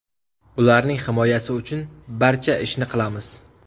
Ularning himoyasi uchun barcha ishni qilamiz.